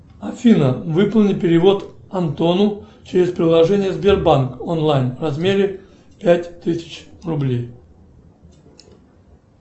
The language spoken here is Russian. афина выполни перевод антону через приложение сбербанк онлайн в размере пять тысяч рублей